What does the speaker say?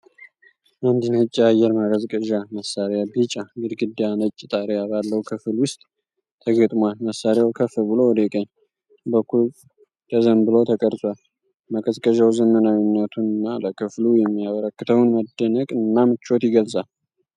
አንድ ነጭ የአየር ማቀዝቀዣ መሳሪያ ቢጫ ግድግዳና ነጭ ጣሪያ ባለው ክፍል ውስጥ ተገጥሟል። መሳሪያው ከፍ ብሎ ወደ ቀኝ በኩል ተዘንብሎ ተቀርጿል። ማቀዝቀዣው ዘመናዊነቱንና ለክፍሉ የሚያበረክተውን መደነቅና ምቾት ይገልጻል።